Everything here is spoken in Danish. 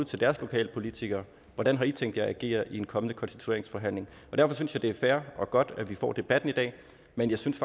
til deres lokalpolitikere hvordan har i tænkt jer at agere i en kommende konstitueringsforhandling derfor synes jeg det er fair og godt at vi får debatten i dag men jeg synes